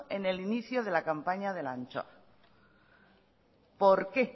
en el inicio de la campaña de la anchoa por qué